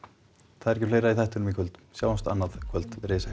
það er ekki fleira í þættinum í kvöld sjáumst annað kvöld veriði sæl